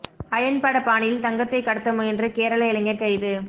iron பட பாணியில் தங்கத்தை கடத்த முயன்ற கேரள இளைஞர் கைது